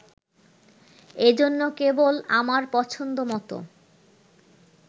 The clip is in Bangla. এজন্য, কেবল আমার পছন্দ মত